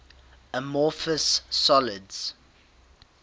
amorphous solids